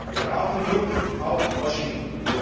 Wir brauchen Druck auf Washington.